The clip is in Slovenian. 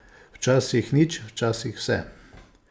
Včasih nič, včasih vse.